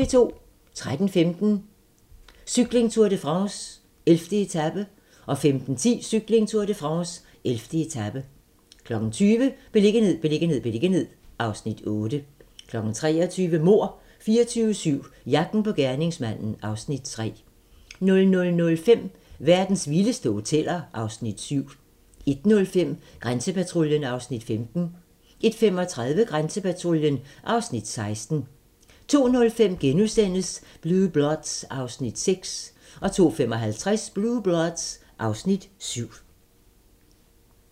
13:15: Cykling: Tour de France - 11. etape 15:10: Cykling: Tour de France - 11. etape 20:00: Beliggenhed, beliggenhed, beliggenhed (Afs. 8) 23:00: Mord 24/7 - jagten på gerningsmanden (Afs. 3) 00:05: Verdens vildeste hoteller (Afs. 7) 01:05: Grænsepatruljen (Afs. 15) 01:35: Grænsepatruljen (Afs. 16) 02:05: Blue Bloods (Afs. 6)* 02:55: Blue Bloods (Afs. 7)